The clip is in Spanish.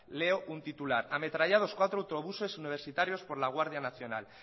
leo un titular ametrallados cuatro autobuses universitarios por la guardia nacional